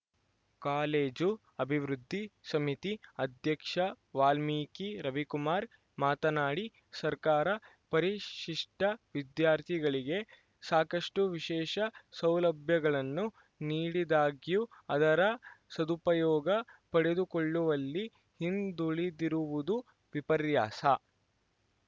college ಅಭಿವೃದ್ಧಿ ಸಮಿತಿ ಅಧ್ಯಕ್ಷ ವಾಲ್ಮೀಕಿ ರವಿಕುಮಾರ್‌ ಮಾತನಾಡಿ ಸರ್ಕಾರ ಪರಿಶಿಷ್ಟವಿದ್ಯಾರ್ಥಿಗಳಿಗೆ ಸಾಕಷ್ಟುವಿಶೇಷ ಸೌಲಭ್ಯಗಳನ್ನು ನೀಡಿದಾಗ್ಯೂ ಅದರ ಸದುಪಯೋಗ ಪಡೆದುಕೊಳ್ಳುವಲ್ಲಿ ಹಿಂದುಳಿದಿರುವುದು ವಿಪರ್ಯಾಸ